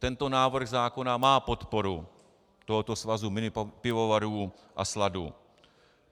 Tento návrh zákona má podporu tohoto svazu minipivovarů a sladu.